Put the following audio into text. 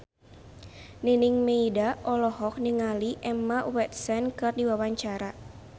Nining Meida olohok ningali Emma Watson keur diwawancara